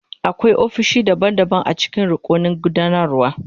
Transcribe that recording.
Akwai ofisoshi daban-daban a cikin rukunin gudanarwa.